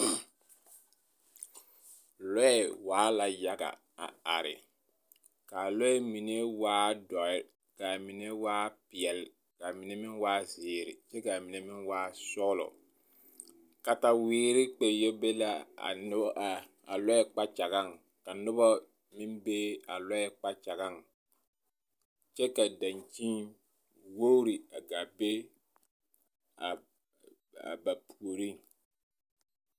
Lɔɛ waa la yaga a are ka a lɔɛ mine waa dɔɛ ka mine waa peɛle ka mine waa meŋ waa zeere kyɛ ka mine meŋ waa sɔgelɔ kataweere kpɛ yɔ be la a lɔɛ kpakyagaŋ ka noba meŋ be a lɔɛ kpakyagaŋ kyɛ ka dankyini wogiri a gaa be a ba puoriŋ.